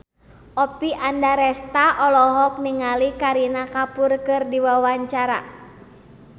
Oppie Andaresta olohok ningali Kareena Kapoor keur diwawancara